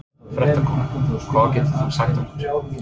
Fréttakona: Hvað getur þú sagt okkur?